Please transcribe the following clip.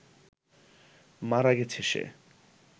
মারা গেছে সে